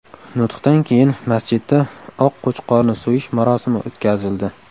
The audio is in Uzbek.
Nutqdan keyin masjidda oq qo‘chqorni so‘yish marosimi o‘tkazildi.